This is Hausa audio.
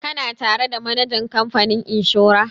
Kana tare da manajan kamfanin inshora?